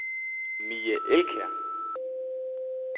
Mie Elkjær